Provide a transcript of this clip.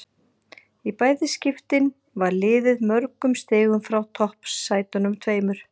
Í bæði skiptin var liðið mörgum stigum frá toppsætunum tveimur.